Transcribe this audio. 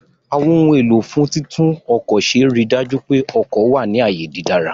Àwọn ohun èlò fún títún ọkọ̀ ṣe ríi dájú pé ọkọ̀ wà ní ààyè dídára